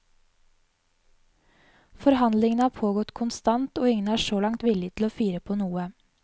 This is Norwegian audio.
Forhandlingene har pågått konstant og ingen er så langt villig til å fire på noe.